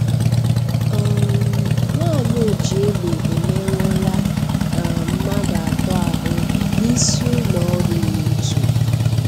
um Nwanyị ojiegbe emerụọla um mmadụ ato ahụ n'isiụlọọrụ YouTube